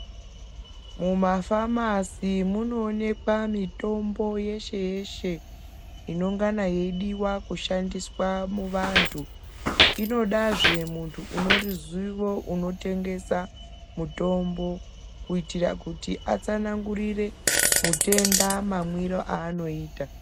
Mumafamasi munoonekwa mitombo yeshe-yeshe inongana yeidiwa kushandiswa muvantu, inodazve muntu une ruziwo unotengesa mutombo kuitira kuti atsanangurire mutenda mamwire anoita.